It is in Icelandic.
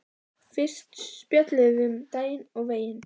Fyrst spjölluðum við um daginn og veginn.